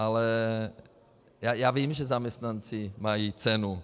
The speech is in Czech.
Ale já vím, že zaměstnanci mají cenu.